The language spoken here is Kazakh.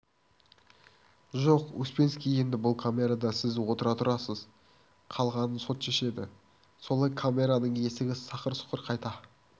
жоқ успенский енді бұл камерада сіз отыра тұрасыз қалғанын сот шешеді солай камераның есігі сақыр-сұқыр қайта